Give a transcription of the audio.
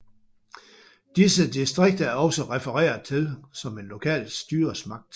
Disse distrikter er også refereret til som en lokal styresmagt